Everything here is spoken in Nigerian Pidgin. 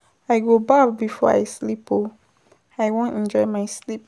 I go baff before I sleep oo, I wan enjoy my sleep.